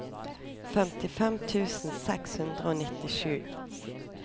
femtifem tusen seks hundre og nittisju